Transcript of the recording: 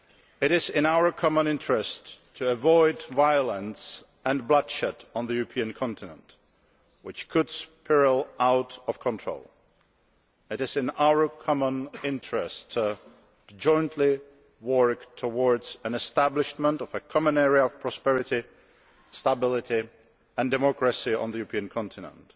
It is in our common interest to avoid violence and bloodshed on the European continent which could spiral out of control. It is in our common interest to jointly work towards the establishment of a common area of prosperity, stability and democracy on the European continent.